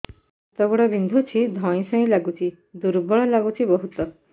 ହାତ ଗୋଡ ବିନ୍ଧୁଛି ଧଇଁସଇଁ ଲାଗୁଚି ଦୁର୍ବଳ ଲାଗୁଚି ବହୁତ